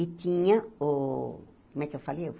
E tinha o... Como é que eu falei?